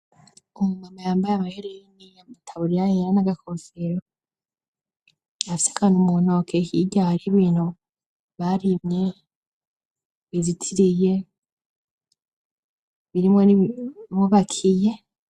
Umu mama yambaye amahereni n'agakosero afise akantu muntoke hakehirya hari ibintu barimye bizitiriye birimwo nimubakiye.